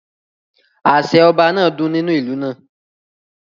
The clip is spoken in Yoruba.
Àṣẹ Ọba náà dún nínú ìlú náà